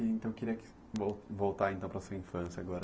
Então, queria voltar voltar então para sua infância agora.